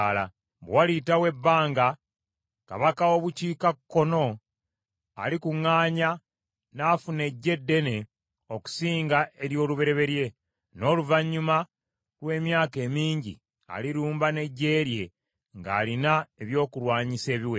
Bwe waliyitawo ebbanga kabaka w’obukiikakkono alikuŋŋaanya n’afuna eggye eddene okusinga ery’olubereberye, n’oluvannyuma lw’emyaka emingi, alirumba n’eggye lye ng’alina ebyokulwanyisa ebiwera.